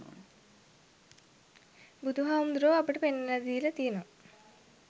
බුදුහාමුදුරුවෝ අපට පෙන්නලා දීල තියනවා